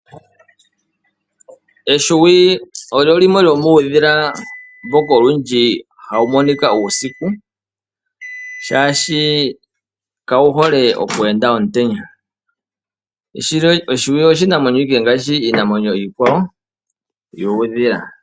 Ehwiyu olyo limwe lyomuudhila mboka hawu monika uusiku. Shaashi kawu hole oku enda omutenya . Ehwiyu oshinamwenyo ashike ngaashi iinamwenyo iikwawo yuudhila.